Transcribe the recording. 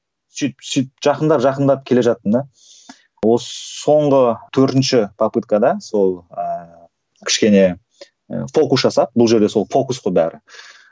сөйтіп сөйтіп жақындап жақындап келе жаттым да осы соңғы төртінші попыткада сол ыыы кішкене ы фокус жасап бұл жерде сол фокус қой бәрі